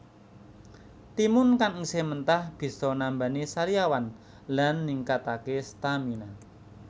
Timun kang isih mentah bisa nambani sariawan lan ningkataké stamina